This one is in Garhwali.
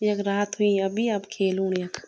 यख रात हुईं अभी अब खेल हूण यख।